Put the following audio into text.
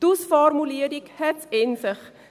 Die Ausformulierung hat es in sich.